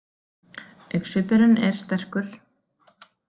Augnsvipurinn er sterkur.